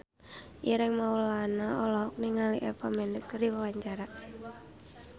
Ireng Maulana olohok ningali Eva Mendes keur diwawancara